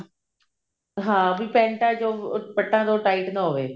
ਹਾਂ ਵੀ ਪੇੰਟਾ ਚ ਉਹ ਪੱਟਾਂ ਤੋਂ tight ਨਾ ਹੋਵੇ